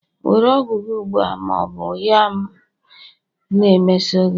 Were ọgwụ gị ugbu a, ma ọ bụ ya m na-emeso gị!